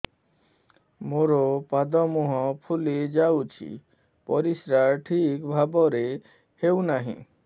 ମୋର ପାଦ ମୁହଁ ଫୁଲି ଯାଉଛି ପରିସ୍ରା ଠିକ୍ ଭାବରେ ହେଉନାହିଁ